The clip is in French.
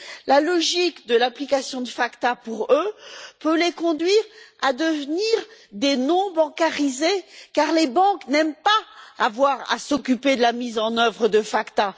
La logique de l'application de la loi FATCA peut les conduire à devenir des non bancarisés, car les banques n'aiment pas avoir à s'occuper de la mise en œuvre de la loi FACTA.